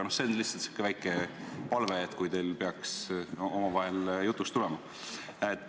See on lihtsalt säärane väike palve, kui teil peaks omavahel jutuks tulema.